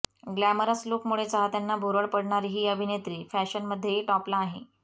glamorous लुकमुळे चाहत्यांना भुरळ पाडणारी ही अभिनेत्री फॅशनमध्येही टॉपला आहे